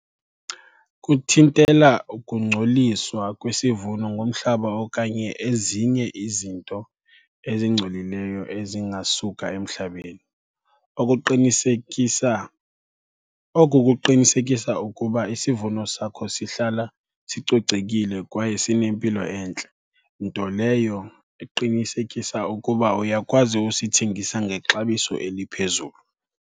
Kuthintela ukungcoliswa kwesivuno ngomhlaba okanye ezinye izinto ezingcolileyo ezingasuka emhlabeni. Okuqinisekisa, oku kuqinisekisa ukuba isivuno sakho sihlala sicocekile kwaye sinempilo entle, nto leyo eqinisekisa ukuba uyakwazi usithengisa ngexabiso eliphezulu.